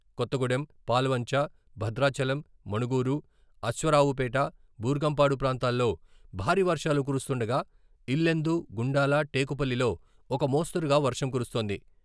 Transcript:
కొత్తగూడెం, పాల్వంచ, భద్రాచలం, మణుగూరు, అశ్వారావుపేట, బూర్గంపాడు ప్రాంతాల్లో భారీ వర్షాలు కురుస్తుండగా ఇల్లెందు, గుండాల, టేకులపల్లిలో ఒక మోస్తరుగా వర్షం కురుస్తోంది.